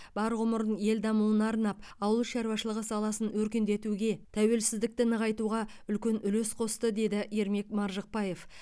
бар ғұмырын ел дамуына арнап ауыл шаруашылығы саласын өркендетуге тәуелсіздікті нығайтуға үлкен үлес қосты деді ермек маржықпаев